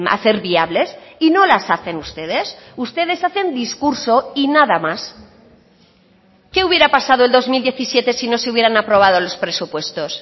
hacer viables y no las hacen ustedes ustedes hacen discurso y nada más qué hubiera pasado el dos mil diecisiete si no se hubieran aprobado los presupuestos